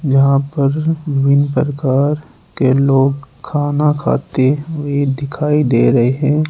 यहां पर विभिन्न प्रकार के लोग खाना खाते हुए दिखाई दे रहे हैं।